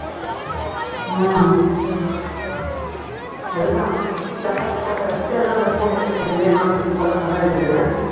உம் அதைதான் இந்த அப்பா கிட்ட photo வச்சுட்டு இந்த food simple ஆ பண்ண வச்சது